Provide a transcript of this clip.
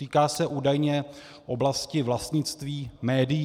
Týká se údajně oblasti vlastnictví médií.